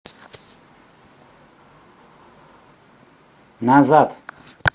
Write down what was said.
назад